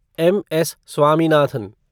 M. S. Swaminathan